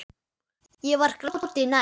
Ég var gráti nær.